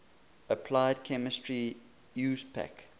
applied chemistry iupac